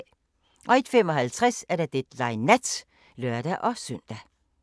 01:55: Deadline Nat (lør-søn)